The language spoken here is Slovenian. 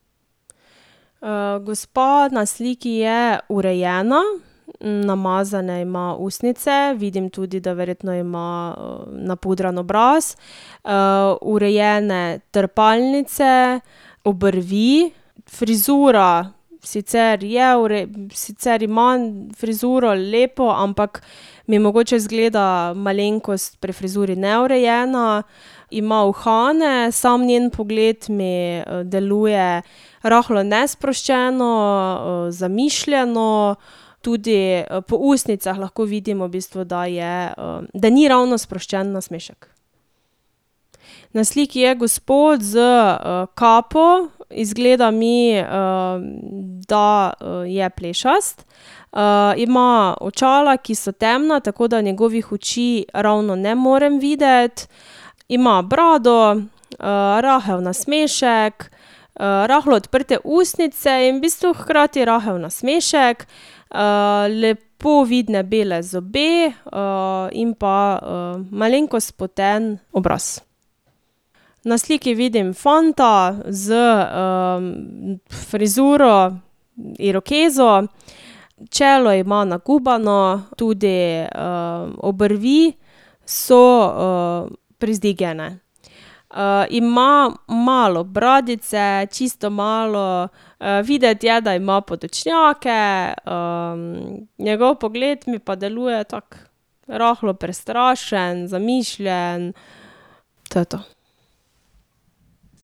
gospa na sliki je urejena, namazane ima ustnice, vidim tudi, da verjetno ima, napudran obraz. urejene trepalnice, obrvi, frizura, sicer je sicer ima frizuro lepo, ampak mi mogoče izgleda malenkost pri frizuri neurejena. Ima uhane, samo njen pogled mi, deluje rahlo nesproščeno, zamišljeno, tudi, po ustnicah lahko vidimo v bistvu, da je, da ni ravno sproščen nasmešek. Na sliki je gospod z, kapo. Izgleda mi, da, je plešast, ima očala, ki so temna, tako da njegovih oči ravno ne morem videti. Ima brado, rahel nasmešek, rahlo odprte ustnice in v bistvu hkrati rahel nasmešek. lepo vidne bele zobe, in pa malenkost spoten obraz. Na sliki vidim fanta z, frizuro irokezo, čelo ima nagubano, tudi, obrvi so, privzdignjene. ima malo bradice, čisto malo, videti je, da ima podočnjake, njegov pogled mi pa deluje tako rahlo prestrašen, zamišljen, to je to.